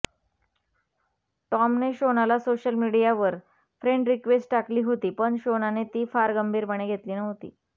टॉमने शोनाला सोशल मिडीयावर friend request टाकली होती पण शोनाने ती फार गंभीरपणे घेतली नव्हती